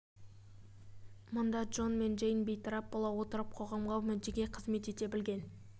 мұнда джон мен джейн бейтарап бола отырып қоғамға мүддеге қызмет ете білген